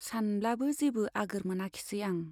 सानब्लाबो जेबो आगोर मोनाखिसै आं।